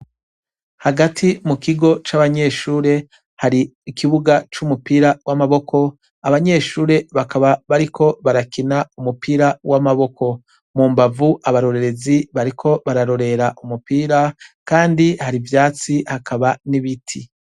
Hagati mu kigo c'abanyeshure hari ikibuga c'umupira w'amaboko abanyeshure bakaba bariko barakina umupira w'amaboko mu mbavu abarorerezi bariko bararorera umupira, kandi hari ivyatsi hakaba n'ibiti.